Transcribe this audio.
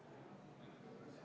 Lugupeetud kolleegid!